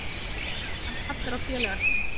Hann kallar á félaga sinn.